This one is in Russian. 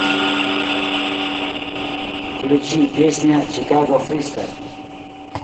включи песня чикаго фристайл